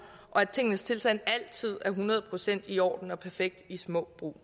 og at tingenes tilstand altid er hundrede procent i orden og perfekt i små brug